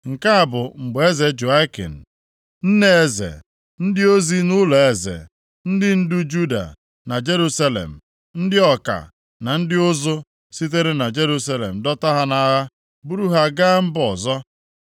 Nke a bụ mgbe eze Jehoiakin, nne eze, ndị ozi nʼụlọeze, ndị ndu Juda na Jerusalem, ndị ọka, na ndị ụzụ sitere na Jerusalem dọta ha nʼagha buru ha gaa mba ọzọ.